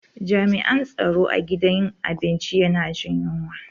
Jami'an tsaro a gidan abinci yana jin yunwa.